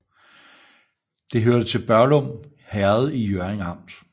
Det hørte til Børglum Herred i Hjørring Amt